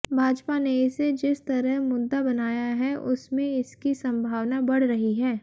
भाजपा ने इसे जिस तरह मुद्दा बनाया है उसमें इसकी संभावना बढ़ रही है